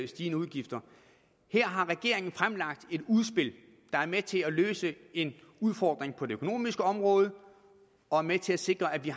stigende udgifter her har regeringen fremlagt et udspil der er med til at løse en udfordring på det økonomiske område og er med til at sikre at vi